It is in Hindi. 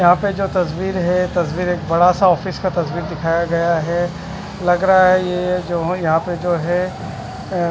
यहाँ पे जो तस्वीर है ये तस्वीर क बड़ा सा ऑफिस का तस्वीर दिखाया गया है लग रहा है ये जो यहाँ पे जो है अ--